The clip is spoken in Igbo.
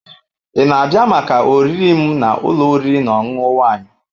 Ị na-abịa maka oriri m na ụlọ oriri na ọṅụṅụ Wine?